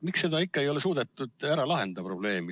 Miks ei ole suudetud probleemi ära lahendada?